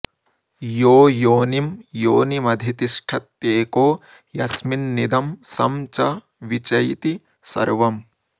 यो योनिं योनिमधितिष्ठत्येको यस्मिन्निदं सं च वि चैति सर्वम्